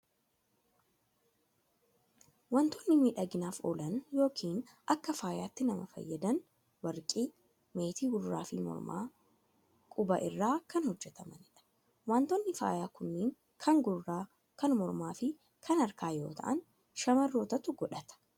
Waantonni miidhaginaaf oolan yookiin akka faayaatti nama fayyadan, warqii, meetii gurraa fi mormaa, qubaa irraa kan hojjetamanidha. Waantonni faayaa kunneen kan gurraa, kan mormaa fi kan harkaa yoo ta'an, shamarrootatu godhata.